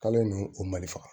K'ale nu u mali faga